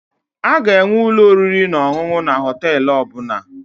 Aga enwe ụlọ oriri na ọṅụṅụ na Họtelụ ọbụla